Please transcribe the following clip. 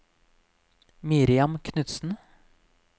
Miriam Knudsen